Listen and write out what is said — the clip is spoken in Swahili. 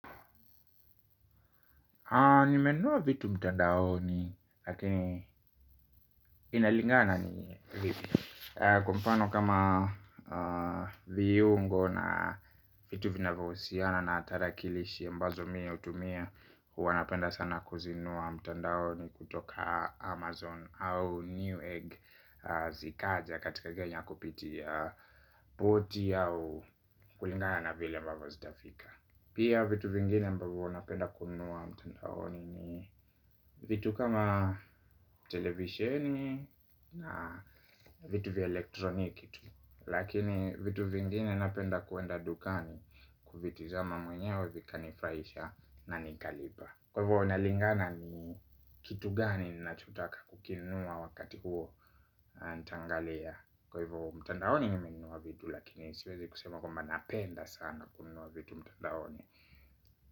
Nimenunua vitu mtandaoni, lakini. Inalingana ni vipi, kwa mfano kama, viungo na, vitu vinavyohusiana na tarakilishi ambazo mie hutumia. Huwa napenda sana kuzinunua mtandaoni kutoka Amazon au New Egg, zikaja katika Kenya kupitia, poti au, kulingana na vile ambavyo zitafika. Pia vitu vingine ambavyo napenda kununua mtandaoni ni. Vitu kama. Televisheni, na, vitu vya elektroniki tu. Lakini vitu vingine napenda kuenda dukani. Kuvitizama mwenyewe vikanifurahisha. Na nikalipa. Kwa hivyo inalingana ni. Kitu gani nachotaka kukinunua wakati huo. Nitaangalia. Kwa hivyo mtandaoni nimenunua vitu lakini siwezi kusema kwamba napenda sana, kununua vitu mtandaoni.